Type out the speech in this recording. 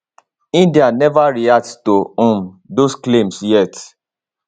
india neva react to um dos claims yet